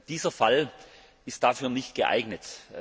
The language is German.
Dieser Fall ist dafür nicht geeignet.